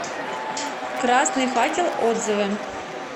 красный факел отзывы